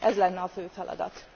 Ez lenne a fő feladat!